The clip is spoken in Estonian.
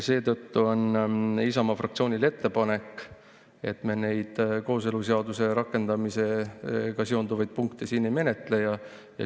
Seetõttu on Isamaa fraktsioonil ettepanek, et me neid kooseluseaduse rakendamisega seonduvaid punkte siin ei menetleks.